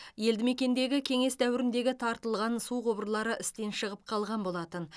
елді мекендегі кеңес дәуіріндегі тартылған су құбырлары істен шығып қалған болатын